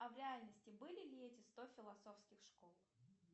а в реальности были ли эти сто философских школ